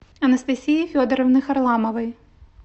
анастасии федоровны харламовой